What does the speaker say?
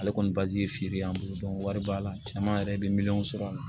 Ale kɔni bazi ye feere ye an bolo wari b'a la caman yɛrɛ be miliyɔn sɔrɔ a la